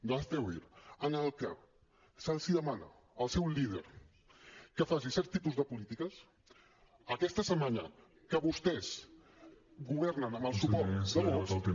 de hazte oir en el que es demana al seu líder que faci certs tipus de polítiques aquesta setmana que vostès governen amb el suport de vox